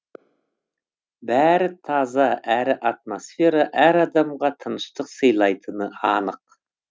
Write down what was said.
бәрі таза әрі атмосфера әр адамға тыныштық сыйлайтыны анық